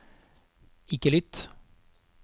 ikke lytt